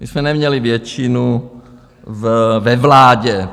My jsme neměli většinu ve vládě.